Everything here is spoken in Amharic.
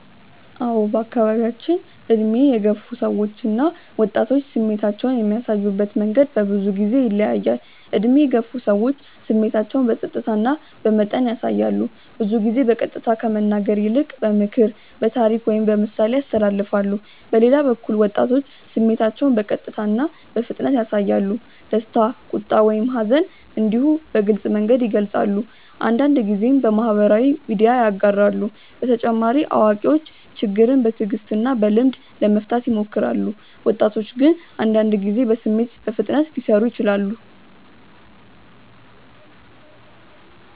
አዎ በአካባቢያችን ዕድሜ የገፉ ሰዎች እና ወጣቶች ስሜታቸውን የሚያሳዩበት መንገድ በብዙ ጊዜ ይለያያል። ዕድሜ የገፉ ሰዎች ስሜታቸውን በጸጥታ እና በመጠን ያሳያሉ። ብዙ ጊዜ በቀጥታ ከመናገር ይልቅ በምክር፣ በታሪክ ወይም በምሳሌ ያስተላልፋሉ። በሌላ በኩል ወጣቶች ስሜታቸውን በቀጥታ እና በፍጥነት ያሳያሉ። ደስታ፣ ቁጣ ወይም ሐዘን እንዲሁ በግልጽ መንገድ ይገልጻሉ፤ አንዳንድ ጊዜም በማህበራዊ ሚዲያ ያጋራሉ። በተጨማሪ አዋቂዎች ችግርን በትዕግስት እና በልምድ ለመፍታት ይሞክራሉ፣ ወጣቶች ግን አንዳንድ ጊዜ በስሜት በፍጥነት ሊሰሩ ይችላሉ።